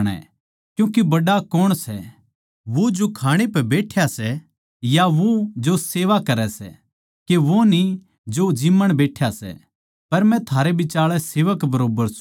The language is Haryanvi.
क्यूँके बड्ड़ा कौण सै वो जो खाणै पै बैठ्या सै या वो जो सेवा करै सै के वो न्ही जो ज़िम्मण बैठ्या सै पर मै थारै बिचाळै सेवक बरोब्बर सूं